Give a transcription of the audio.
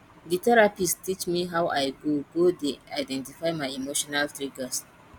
di therapist teach me how i go go dey identify my emotional triggers